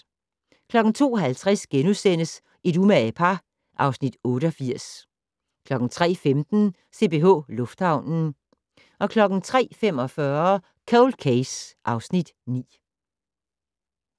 02:50: Et umage par (Afs. 88)* 03:15: CPH Lufthavnen 03:45: Cold Case (Afs. 9)